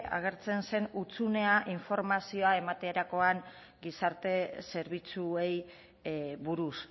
agertzen zen hutsunea informazioa ematerakoan gizarte zerbitzuei buruz